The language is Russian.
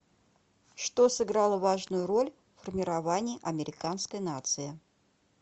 что сыграло важную роль в формировании американской нации